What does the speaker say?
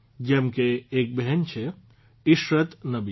જેમ કે એક બહેન છે ઇશરત નબી